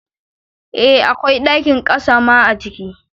Eh akwai ɗakin ƙasa ma a ciki